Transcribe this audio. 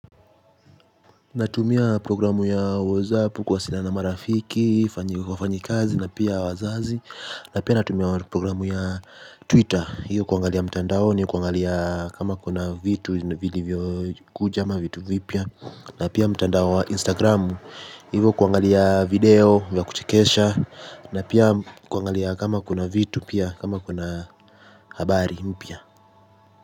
Natumia programu ya WhatsApp kuwasialiana na marafiki, wafanyikazi na pia wazazi. Na pia natumia programu ya Twitter, hiyo kuangalia mtandaoni, kuangalia kama kuna vitu, vilivyo kuja ama vitu vipya na pia mtandao wa Instagram, hiyo kuangalia video vya kuchekesha. Na pia kuangalia kama kuna vitu pia, kama kuna habari mpya.